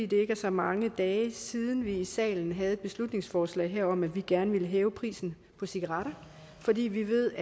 det er ikke så mange dage siden vi i salen havde et beslutningsforslag om at vi gerne ville hæve prisen på cigaretter fordi vi ved